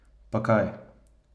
Pa kaj?